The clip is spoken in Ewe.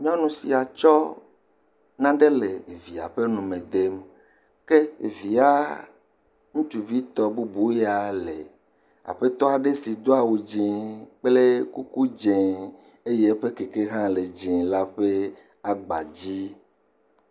Nyɔnu sia tsɔ naɖe le via ƒe nume de ke evia ŋutsuvitɔ bubu ya le aƒetɔ aɖe si do awu dzi kple kuku dzi eye eƒe kleke hã le dzi la ƒe aba dzi.